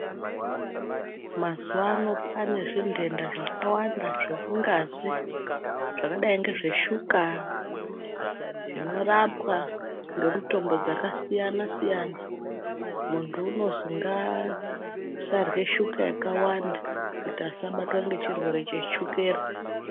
Mazuwano kwaane zvintenta zvakawanda zvemungazi zvakadai ngezveshuka zvinorapwa ngemitombo dzakasiyana siyana muntu unozwi ngaasarye shuka yakawanda kuti asabatwe ngechirwere cheshukera.